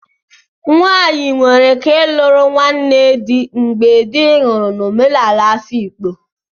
Nwanyi nwere ike luru nwanne di mgbe di nwuru n'omenala Afikpo,